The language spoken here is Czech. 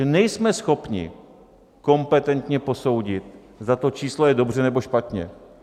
Že nejsme schopni kompetentně posoudit, zda to číslo je dobře, nebo špatně.